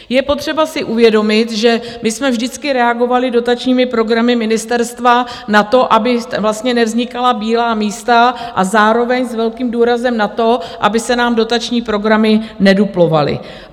Je potřeba si uvědomit, že my jsme vždycky reagovali dotačními programy ministerstva na to, aby vlastně nevznikala bílá místa, a zároveň s velkým důrazem na to, aby se nám dotační programy nedublovaly.